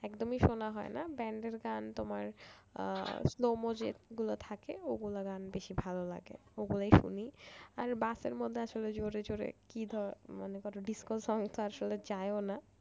একদমই শোনা হয় না band এর গান তোমার আহ slow move যেগুলো থাকে ওগুলো গান বেশি ভালো লাগে আর বাসার মধ্যে আসলে জোরে জোরে মনে কর disco song তো আসলে না